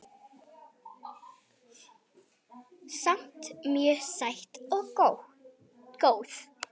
Samt mjög sæt og góð